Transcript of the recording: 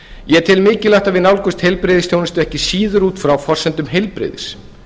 ég tel mikilvægt að við nálgumst heilbrigðisþjónustu ekki síður út frá forsendum heilbrigðis